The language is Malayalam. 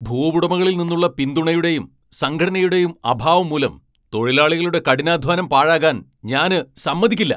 ഭൂവുടമകളിൽ നിന്നുള്ള പിന്തുണയുടെയും സംഘടനയുടെയും അഭാവം മൂലം തൊഴിലാളികളുടെ കഠിനാധ്വാനം പാഴാകാൻ ഞാന് സമ്മതിക്കില്ല.